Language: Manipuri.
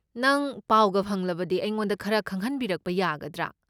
ꯅꯪ ꯄꯥꯎꯒ ꯐꯪꯂꯕꯗꯤ ꯑꯩꯉꯣꯟꯗ ꯈꯔ ꯈꯪꯍꯟꯕꯤꯔꯛꯄ ꯌꯥꯒꯗ꯭ꯔꯥ?